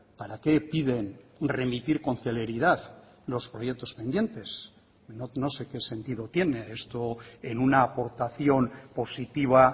para qué piden remitir con celeridad los proyectos pendientes no sé qué sentido tiene esto en una aportación positiva